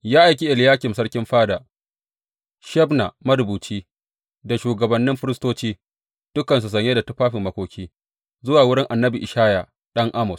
Ya aiki Eliyakim sarkin fada, Shebna marubuci da shugabannin firistoci, dukansu sanye da tufafin makoki, zuwa wurin annabi Ishaya ɗan Amoz.